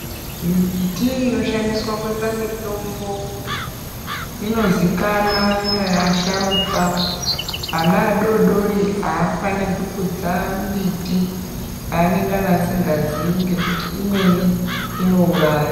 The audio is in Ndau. Mimbiti inoshandiswa kuita mitombo inozikana ngeasharukwa. Ana adodori hafaniri kutsa mbiti yanengana asingazii ngekuti imweni inouraya.